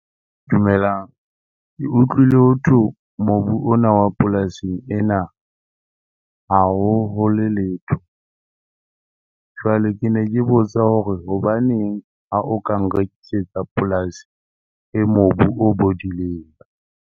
Dumelang. Ke utlwile hotho mobu ona wa polasing ena ha o hole letho. Jwale ke ne ke botsa hore hobaneng ha o ka nrekisetsa polasi e mobu o bodileng?